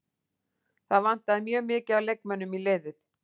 Það vantaði mjög mikið af leikmönnum í liðið.